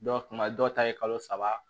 Dɔw tuma dɔw ta ye kalo saba